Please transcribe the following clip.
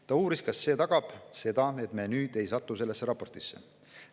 Ta uuris, kas see tagab, et me enam sellesse raportisse ei satu.